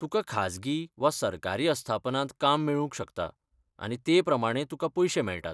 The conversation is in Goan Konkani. तुकां खाजगी वा सरकारी अस्थापनांत काम मेळूंक शकता, आनी ते प्रमाणें तुकां पयशें मेळटात.